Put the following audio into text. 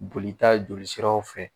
Bolita jolisiraw fɛ